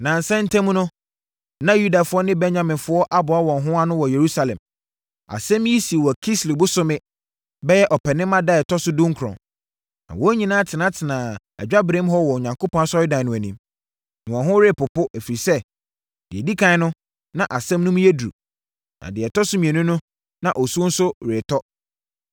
Nnansa ntam no, na Yudafoɔ ne Benyaminfoɔ aboa wɔn ho ano wɔ Yerusalem. Asɛm yi sii wɔ Kislew bosome (bɛyɛ Ɔpɛnima) da a ɛtɔ so dunkron, na wɔn nyinaa tenatenaa adwaberem hɔ wɔ Onyankopɔn Asɔredan no anim. Na wɔn ho repopo, ɛfiri sɛ, deɛ ɛdi ɛkan no, na asɛm no mu yɛ duru, na deɛ ɛtɔ so mmienu no, na osuo nso retɔ.